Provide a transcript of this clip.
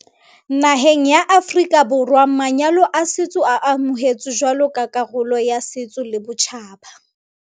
Naheng ya Aforika Borwa manyalo a setso a amohetswe jwalo ka karolo ya setso le botjhaba.